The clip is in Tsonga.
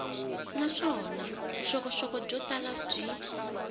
naswona vuxokoxoko byo tala byi